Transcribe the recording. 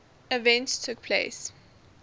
events took place